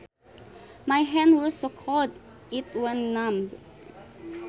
My hand was so cold it went numb